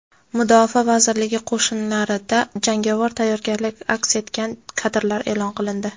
Mudofaa vazirligi qo‘shinlarida jangovar tayyorgarlik aks etgan kadrlar e’lon qilindi.